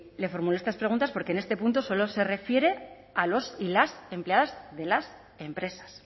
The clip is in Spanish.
le formulo estas preguntas porque en este punto solo se refiere a los y las empleadas de las empresas